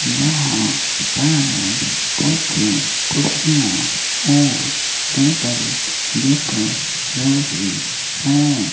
यहां पर कुछ कुर्सियां और टेबल दिख रही हैं।